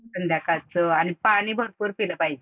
संध्याकाळचं आणि पाणी भरपूर पिलं पाहिजे.